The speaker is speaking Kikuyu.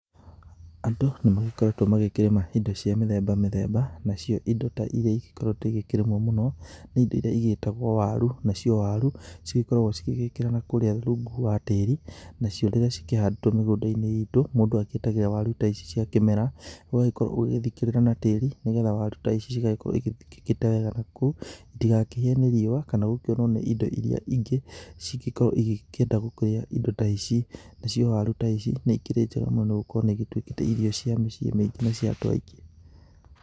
Andũ nĩ magĩkoretwo magĩkĩrĩma indo cia mĩthemba mĩthemba. Na cio indo ta irĩa igĩkoretwo ikĩrimwo mũno nĩ indo iria cigĩtagwo waru. Na cio waru cikoragwo cigĩgĩkĩrwo na kũu rungu wa tĩĩri. Nacio rĩrĩa cikĩhandĩtwo mĩgũnda-inĩ itũ, mũndũ agĩgĩtagĩrĩra waru ta ici cia kĩmera, ũgagĩkorwo ũgĩthikĩrĩra na tĩĩri nĩgetha waru ta ici cigagĩkorwo cigĩthikĩkĩte wega na kũu, citigakĩhĩe riũa kana gũkĩonwo nĩ indo irĩa ingĩ cingĩkorwo cikĩenda gũkĩria indo ta ici. Na cio waru ta ici nĩikĩrĩ njega mũno nĩgũkorwo nĩituĩkĩte ta irio cia mĩciĩ mĩingĩ na cia andũ aingĩ.